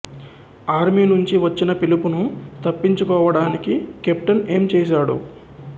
army నుంచి వచ్చిన పిలుపును తప్పించుకోవటానికి కెప్టెన్ ఏం చేసాడు